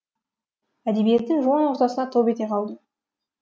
әдебиеттің жуан ортасына топ ете қалдым